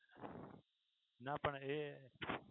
ના પણ એ